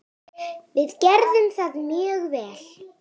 Við gerðum það mjög vel.